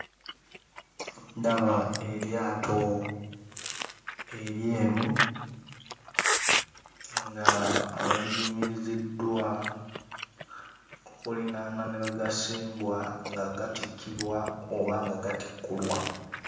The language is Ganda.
Ndaba eryato eryeru nga liyimiriziddwa okulinaana ne wagasimbwa nga gatikkibwa oba nga gatikkulwa.